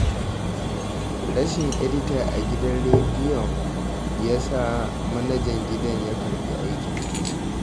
Rashin edita a gidan rediyon ya sa manajan gidan ya karɓi aikin.